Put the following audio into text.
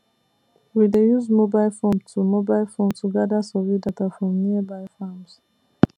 we dey use mobile form to mobile form to gather survey data from nearby farms